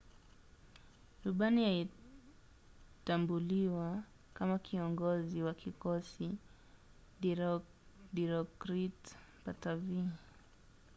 rubani alitambuliwa kama kiongozi wa kikosi dilokrit pattavee